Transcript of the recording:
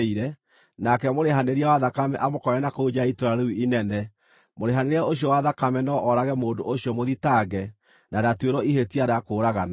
nake mũrĩhanĩria wa thakame amũkore na kũu nja ya itũũra rĩu inene, mũrĩhanĩria ũcio wa thakame no oorage mũndũ ũcio mũthitange, na ndatuĩrwo ihĩtia rĩa kũũragana.